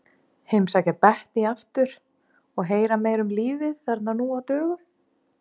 Heimsækja Bettý aftur og heyra meira um lífið þarna nú á dögum.